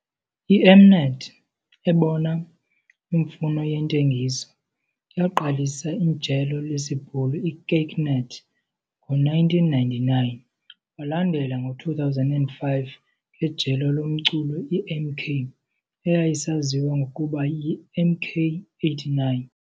I- M-Net ebona imfuno yentengiso, yaqalisa ijelo lesiBhulu i-KykNet ngo1999, walandela ngo2005 ngejelo lomculo i-MK, eyayisaziwa ngokuba yiMK89.